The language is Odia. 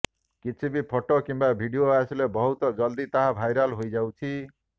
କିଛି ବି ଫଟୋ କିମ୍ବା ଭିଡ଼ିଓ ଆସିଲେ ବହୁତ ଯଲଦି ତାହା ଭାଇରାଲ ହୋଇଯାଉଛି